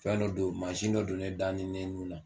Fɛn dɔ don mansin dɔ don ne da ni ne nun na